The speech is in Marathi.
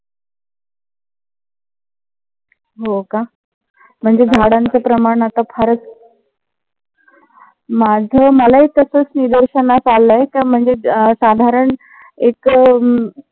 हो का. म्हणजे झाडाचं प्रमाण आता फार, माझ मलाही तसच निदर्शनास आलाय तर म्हणजे साधारन एक अह